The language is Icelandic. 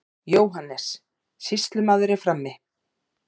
JÓHANNES: Sýslumaður er frammi.